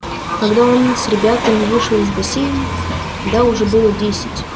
когда он с ребятами вышел из бассейна да уже было десять